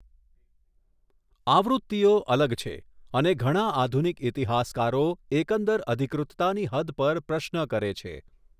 આવૃત્તિઓ અલગ છે, અને ઘણા આધુનિક ઇતિહાસકારો એકંદર અધિકૃતતાની હદ પર પ્રશ્ન કરે છે.